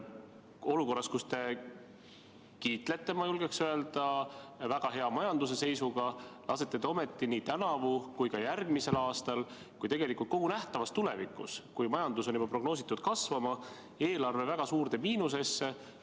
Olukorras, kus te kiitlete, ma julgeksin öelda, majanduse väga hea seisuga, lasete te ometi nii tänavu, järgmisel aastal kui ka kogu nähtavas tulevikus, kuigi on prognoositud, et majandus kasvab, eelarve väga suurde miinusesse.